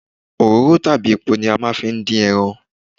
Òróró tàbí epo ni a máa ń fi ń dín ẹran.